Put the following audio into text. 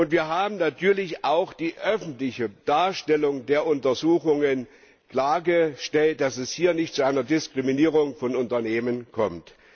Wir haben natürlich auch hinsichtlich der öffentlichen Darstellung der Untersuchungen klargestellt, dass es hier nicht zu einer Diskriminierung von Unternehmen kommt.